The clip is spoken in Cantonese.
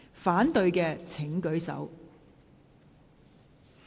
反對的請舉手。